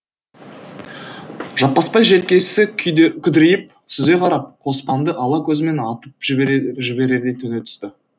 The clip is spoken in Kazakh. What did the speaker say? жаппасбай желкесі күдірейіп сүзе қарап қоспанды ала көзімен атып жіберердей төне түсті